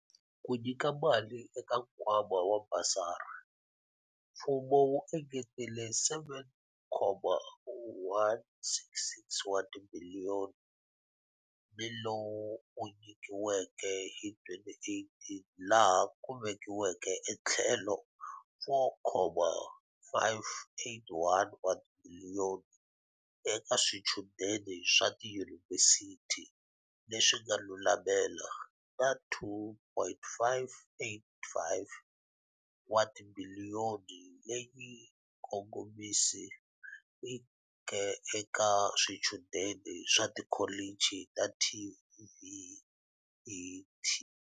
Ku nyika mali eka nkwa ma wa basari, mfumo wu engetele R7.166 wa tibiliyo ni lowu wu nyikiweke hi 2018 laha ku vekiweke etlhelo R4.581 wa tibiliyoni eka swichudeni swa tiyunivhesiti leswi nga lulamela na R2.585 wa tibiliyoni leyi yi kongomisiweke ka swichudeni swa ti kholichi ta TVET.